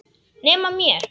Nema mér.